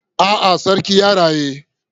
A'a, sarki yana raye.